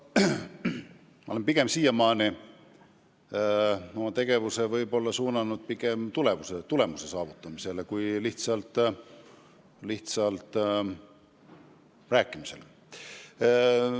Ma olen siiamaani oma tegevuse suunanud pigem tulemuse saavutamisele kui lihtsalt rääkimisele.